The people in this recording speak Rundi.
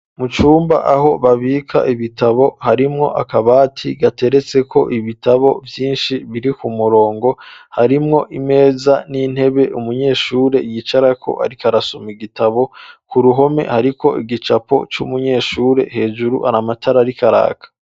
mu cyumba aho babika ibitabo harimwo akabati gateretseko ibitabo vyinshi biri ku murongo harimwo imeza n'intebe umunyeshure yicarako arikarasoma igitabo ku ruhome hariko igicapo c,umunyeshure hejuru hari amatara ariko araka